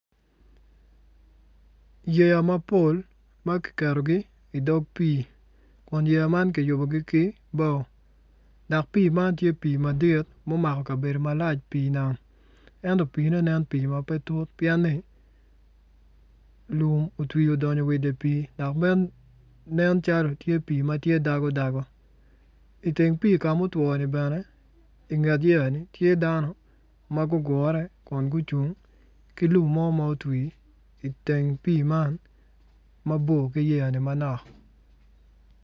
Yeya mapol ma kiketogi idog pii kun yeya man ki yubugi ki bao dok pii man tye madit mu mako kabedo malac pii nam ento piine nen pii ma pe tut pien ni lum otwi odongo wa idi pii dok bene tye dago dago iteng pii ka ma otwo ni bene inget yeya ni tye dano ma gugure kun ki lum mo ma otwi iteng pii man ma bor ki yeya ni manok